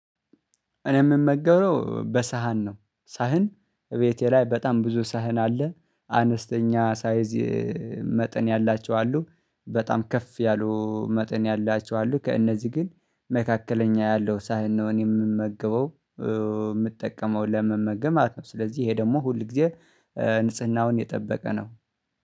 እኔ የምመገበው በሳህን ነው። ሳህን እቤቴ ላይ በጣም ብዙ ሳህን አለ። አነስተኛ ሳይዝ መጠን ያላቸው አሉ። በጣም ከፍ ያሉ መጠን ያላቸው አሉ። ከእነዚህ ግን መካከለኛ ያለው ሳህን ነው እኔ የምመገበው የምጠቀመው ለመመገብ ማለት ነው። ስለዚህ ይሄ ደግሞ ሁል ጊዜ ንጽህናውን የጠበቀ ነው።